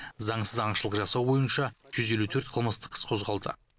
заңсыз аңшылық жасау бойынша жүз елу төрт қылмыстық іс қозғалды